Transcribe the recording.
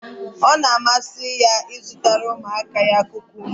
Ọ na-amasị ya ịzụtara ụmụaka ya kukumba.